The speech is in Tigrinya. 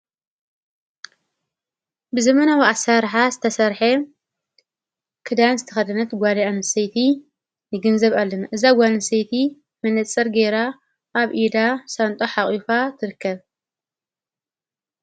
ብዘመናዊ ኣስራርሓ ዝተሠርሐ ክዳን ዝተኸድነት ጓዲያ ንሴይቲ ይግን ዘብኣልን እዛጓንሴይቲ ምነጽር ገይራ ኣብ ኢዳ ሳንጦ ሓቝፋ ትርከብ።